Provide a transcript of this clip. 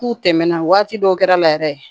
K'u tɛmɛn na waati dɔw kɛra la yɛrɛ